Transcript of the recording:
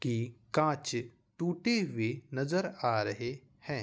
की कांच टूटी हुई नजर आ रही है।